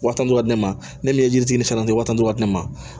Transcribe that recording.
Wa tan ni duuru ka di ne ma ne ni ye jitini fɛnɛ di wa tantɔ ne ma